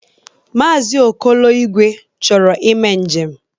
Maazi Okolo Igwe chọrọ ime njem.